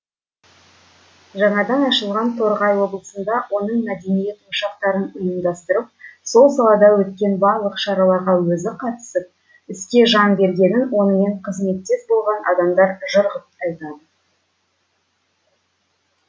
жаңадан ашылған торғай облысында оның мәдениет ошақтарын ұйымдастырып сол салада өткен барлық шараларға өзі қатысып іске жан бергенін онымен қызметтес болған адамдар жыр ғып айтады